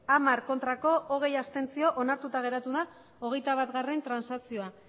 hamar abstentzioak hogei onartuta geratu da hogeita batgarrena transakzioa